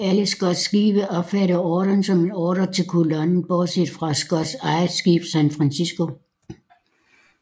Alle Scotts skibe opfattede ordren som en ordre til kolonnen bortset fra Scotts eget skib San Francisco